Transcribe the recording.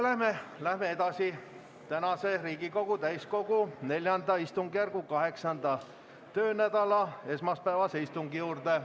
Läheme nüüd tänase Riigikogu täiskogu IV istungjärgu 8. töönädala esmaspäevase istungi juurde.